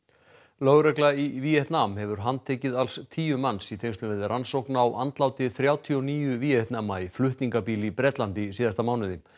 lögregla í Víetnam hefur handtekið alls tíu manns í tengslum við rannsókn á andláti þrjátíu og níu Víetnama í flutningabíl í Bretlandi í síðasta mánuði